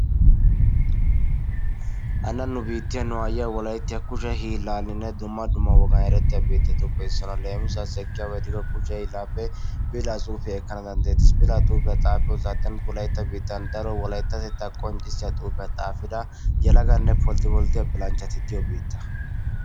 Hana nu biittiyay nu syyiya kushe hiillaanunne dumma dumma wogan eretiya biittatuppe issino. Leemissuwaassi ekkiyaba gidikko kushe hiilaappe bilaa tsuufiya ekkana danddayees, bilaa xuufiyan xaafiyo saatiyan nu wolayttan biittan daro nu wolayttattetta qonccissiya xuufiya xaafida yelaganne pulddippolddiya bilanchchsti de'iyo biittaa.